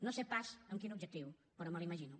no sé pas amb quin objectiu però me l’imagino